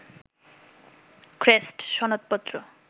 crest, সনদপত্র